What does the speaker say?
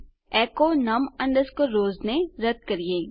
echo num rows ને રદ કરીએ